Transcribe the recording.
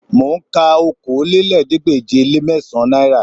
Mò ń ka okòólélẹ́ẹ̀ẹ́dégbèje-le-mẹ́sàn-án náírà